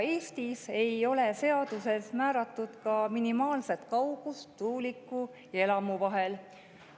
Eestis ei ole seaduses määratud ka minimaalset kaugust tuuliku ja elamu vahel.